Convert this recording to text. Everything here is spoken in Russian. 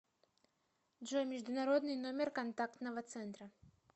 джой международный номер контактного центра